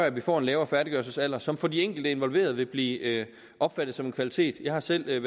at vi får en lavere færdiggørelsesalder som for de enkelte involverede vil blive opfattet som en kvalitet jeg har selv